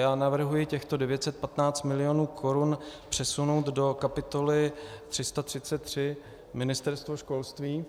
Já navrhuji těchto 915 mil. korun přesunout do kapitoly 333 Ministerstvo školství,